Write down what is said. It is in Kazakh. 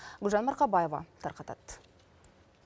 гүлжан марқабаева тарқатады